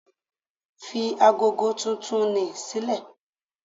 Fi ago titun ni sílẹ̀!